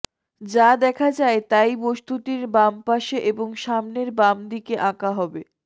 যা দেখা যায় তাই বস্তুটির বাম পাশে এবং সামনের বাম দিকে আঁকা হবে